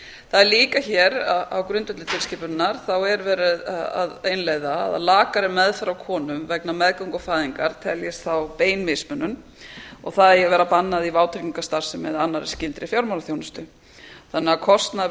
það er líka hér á grundvelli tilskipunarinnar verið að innleiða að lakari meðferð á konum vegna meðgöngu og fæðingar teljist þá bein mismunun og það eigi að vera bannað í vátryggingastarfsemi eða annarri skyldri fjármálaþjónustu þannig að kostnaður